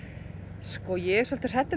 sko ég er svolítið hrædd um